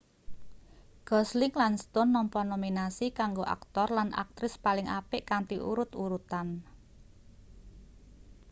gosling lan stone nampa nominasi kanggo aktor lan aktris paling apik kanthi urut-urutan